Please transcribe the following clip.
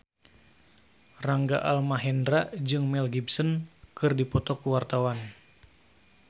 Rangga Almahendra jeung Mel Gibson keur dipoto ku wartawan